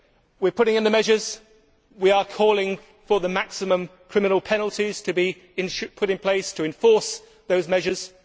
We are putting in the measures, we are calling for the maximum criminal penalties to be put in place to enforce those measures.